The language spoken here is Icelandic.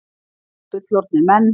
Tveir fullorðnir menn.